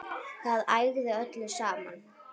Það ægði öllu saman